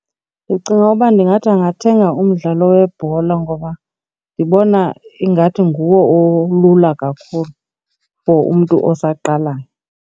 Ndicinga uba ndingathi angathenga umdlalo webhola ngoba ndibona ingathi nguwo olula kakhulu for umntu osaqalayo.